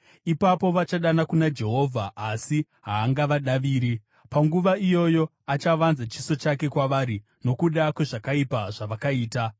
Ipapo vachadana kuna Jehovha, asi haangavadaviri. Panguva iyoyo achavanza chiso chake kwavari nokuda kwezvakaipa zvavakaita.